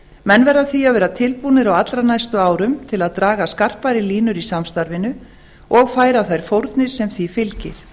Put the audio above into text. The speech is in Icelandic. menn verða því að vera tilbúnir á allra næstu árum til að draga skarpari línur í samstarfinu og færa þær fórnir sem því fylgir